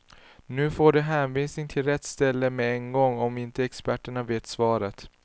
Nu får de hänvisning till rätt ställe med en gång om inte experterna vet svaret.